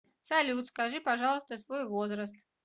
салют скажи пожалуйста свой возраст